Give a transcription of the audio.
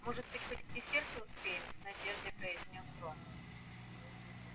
может быть хоть к десерту успеем с надеждой произнёс рон